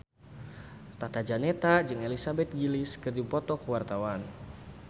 Tata Janeta jeung Elizabeth Gillies keur dipoto ku wartawan